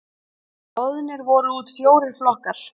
Boðnir voru út fjórir flokkar.